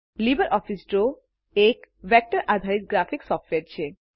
LibreOffice Draw એક વેક્ટરપરિમાણ અને દિશા આધારિત ગ્રાફિક સોફ્ટવેર છે